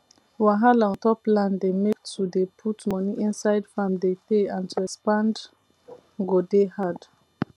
wahala ontop land dey make to dey put money inside farm de teyyy and to expand go dey hard